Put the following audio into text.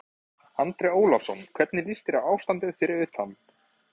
Magnús Hlynur Hreiðarsson: Sex pönnur, er þetta ekki algjört brjálæði?